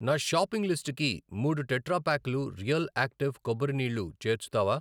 నా షాపింగ్ లిస్టుకి మూడు టెట్రా ప్యాక్లు రియల్ యాక్టివ్ కొబ్బరి నీళ్ళు చేర్చుతావా?